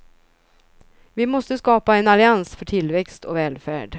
Vi måste skapa en allians för tillväxt och välfärd.